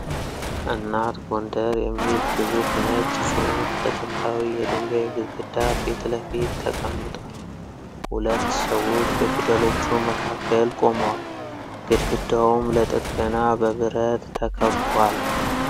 "እናት ጎንደር " የሚል ግዙፍ ነጭ ጽሑፍ በጥንታዊ የድንጋይ ግድግዳ ፊት ለፊት ተቀምጧል። ሁለት ሰዎች በፊደሎቹ መካከል ቆመዋል፣ ግድግዳውም ለጥገና በብረት ተከቧል።